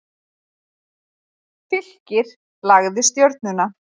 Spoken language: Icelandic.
Fylkir lagði Stjörnuna